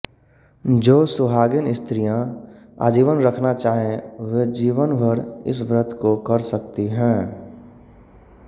जो सुहागिन स्त्रियाँ आजीवन रखना चाहें वे जीवनभर इस व्रत को कर सकती हैं